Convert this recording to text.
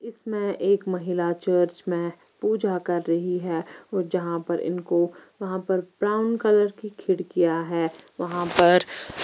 इस मे एक महिला चर्च मे पूजा कर रही है और जहां पर इनको वहाँ पर ब्राउन कलर की खिड़कियां है वहाँ पर--